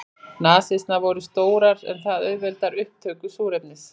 Nasirnar voru stórar en það auðveldar upptöku súrefnis.